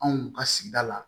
Anw ka sigida la